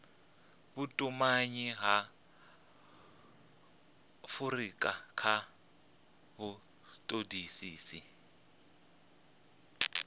vhutumanyi ha afurika kha vhutodisisi